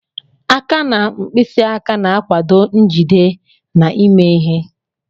Aka na mkpịsị aka na-akwado njide na ime ihe.